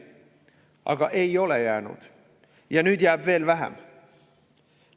Aga ei ole jäänud ja nüüd jäävad veel vähem.